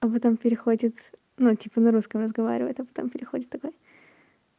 а потом переходит ну типа на русском разговаривает а потом переходит такой